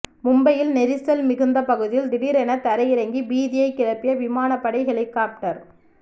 மும்பையில் நெரிசல் மிகுந்த பகுதியில் திடீரென தரையிறங்கி பீதியை கிளப்பிய விமானப் படை ஹெலிகப்டர்